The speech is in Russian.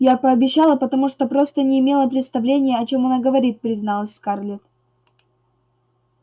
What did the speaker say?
я пообещала потому что просто не имела представления о чём она говорит призналась скарлетт